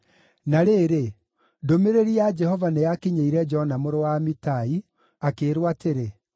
Na rĩrĩ, ndũmĩrĩri ya Jehova nĩyakinyĩire Jona mũrũ wa Amitai, akĩĩrwo atĩrĩ: